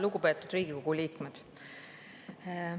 Lugupeetud Riigikogu liikmed!